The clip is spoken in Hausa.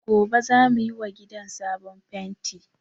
Gobe za mu yi wa gidan sabon fenti